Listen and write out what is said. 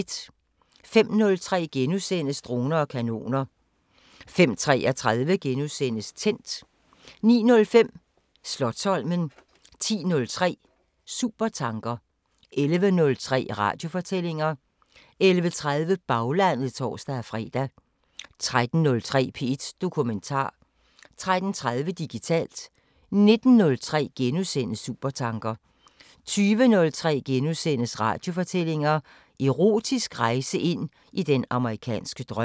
05:03: Droner og kanoner * 05:33: Tændt * 09:05: Slotsholmen 10:03: Supertanker 11:03: Radiofortællinger 11:30: Baglandet (tor-fre) 13:03: P1 Dokumentar 13:30: Digitalt 19:03: Supertanker * 20:03: Radiofortællinger: Erotisk rejse ind i den amerikanske drøm *